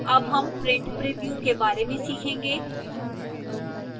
अब हम print preview के बारे में सीखेंगे